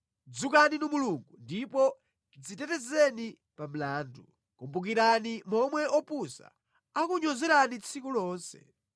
Dzukani Inu Mulungu ndipo dzitetezeni pa mlandu; kumbukirani momwe opusa akukunyozerani tsiku lonse.